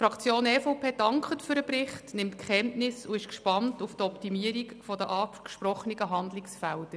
Die EVP-Fraktion dankt für den Bericht, nimmt Kenntnis davon und ist gespannt auf die Optimierung der angesprochenen Handlungsfelder.